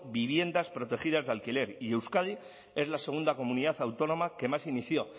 viviendas protegidas de alquiler y euskadi es la segunda comunidad autónoma que más inició